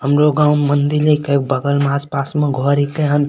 हमरो गांव में मंदिर हीके उ बगल में आस-पास में घर हीके हन।